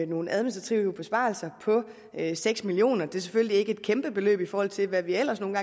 nogle administrative besparelser på seks million kroner det er selvfølgelig ikke et kæmpebeløb i forhold til hvad vi ellers nogle